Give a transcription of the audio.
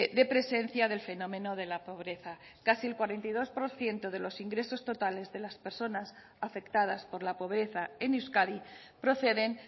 de presencia del fenómeno de la pobreza casi el cuarenta y dos por ciento de los ingresos totales de las personas afectadas por la pobreza en euskadi proceden